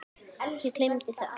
Ég gleymi alltaf.